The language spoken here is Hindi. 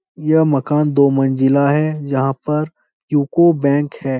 यह मकान दो मंजिला है यहाँ पर यू.को. बैंक है।